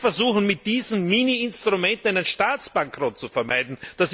Wir versuchen mit diesen Mini Instrumenten einen Staatsbankrott zu vermeiden.